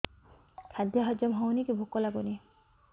ଖାଦ୍ୟ ହଜମ ହଉନି କି ଭୋକ ଲାଗୁନି